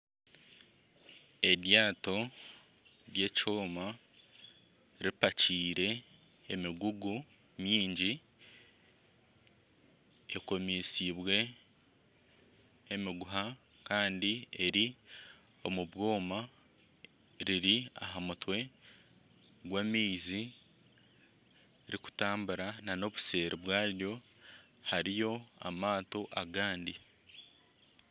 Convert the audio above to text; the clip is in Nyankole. Eryato ryekyoma ripakiire emigugu mingi ekomesiibwe emiguha kandi eri omu bwoma riri aha mutwe gw'amaizi ririkutambura kandi nana obuseeri bwaryo hariyo amaato agandi.